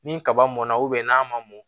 Ni kaba mɔnna n'a ma mɔn